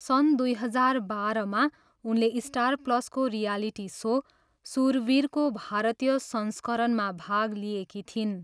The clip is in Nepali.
सन् दुई हजार बाह्रमा उनले स्टार प्लसको रियालिटी सो सुरवीरको भारतीय संस्करणमा भाग लिएकी थिइन्।